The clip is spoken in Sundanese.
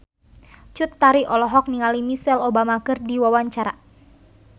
Cut Tari olohok ningali Michelle Obama keur diwawancara